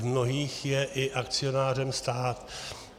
V mnohých je i akcionářem stát.